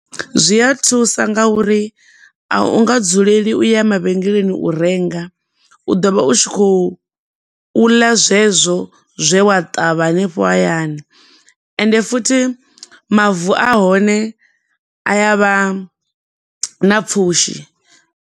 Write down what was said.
Zwi a thusa nga uri a u nga dzuleli u ya mavhengeleni u renga, u ḓo vha u tshi khou ḽa zwezwo zwe wa ṱavha hanefho hayanai, ende futhi mavu ahone a yavha na pfushi.